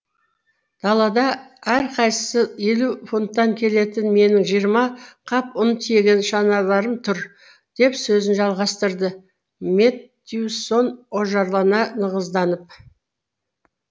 далада әрқайсысы елу фунттан келетін менің жиырма қап ұн тиеген шаналарым тұр деп сөзін жалғастырды меттьюсон ожарлана нығызданып